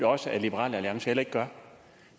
også at liberal alliance ikke gør